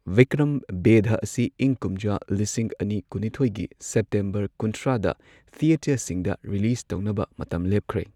ꯕꯤꯀ꯭ꯔꯝ ꯕꯦꯙꯥ ꯑꯁꯤ ꯏꯪ ꯀꯨꯝꯖꯥ ꯂꯤꯁꯤꯡ ꯑꯅꯤ ꯀꯨꯟꯅꯤꯊꯣꯏꯒꯤ ꯁꯦꯞꯇꯦꯝꯕꯔ ꯀꯨꯟꯊ꯭ꯔꯥꯗ ꯊꯤꯌꯦꯇꯔꯁꯤꯡꯗ ꯔꯤꯂꯤꯖ ꯇꯧꯅꯕ ꯃꯇꯝ ꯂꯦꯞꯈ꯭ꯔꯦ ꯫